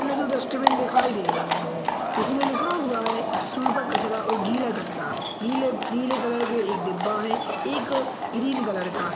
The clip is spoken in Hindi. हमें दो डस्ट्बिन दिखाई दे रही है जिसमें लिखा हुआ है सुखा कचरा और गीला कचरा नीले नीले कलर के एक डिब्बा है एक ग्रीन कलर का है ।